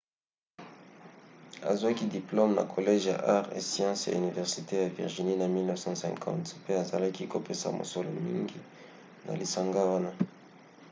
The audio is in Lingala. azwaki diplome na college ya arts & sciences ya université ya virginie na 1950 pe azalaki kopesa mosolo mingi na lisanga wana